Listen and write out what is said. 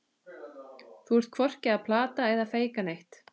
Þú ert hvorki að plata eða feika neitt.